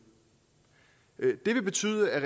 og det ville betyde at